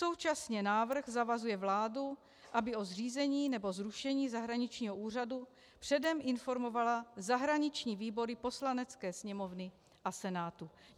Současně návrh zavazuje vládu, aby o zřízení nebo zrušení zahraničního úřadu předem informovala zahraniční výbory Poslanecké sněmovny a Senátu.